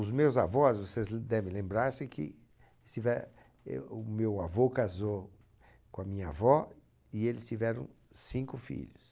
Os meus avós, vocês devem lembrar-se que eles tive, eh, o meu avô casou com a minha avó e eles tiveram cinco filhos.